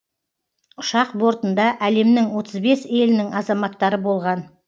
ұшақ бортында әлемнің отыз бес елінің азаматтары болған